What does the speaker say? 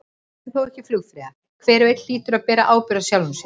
Vertu þá ekki flugfreyja, hver og einn hlýtur að bera ábyrgð á sjálfum sér.